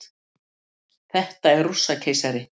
Þetta er Rússakeisari.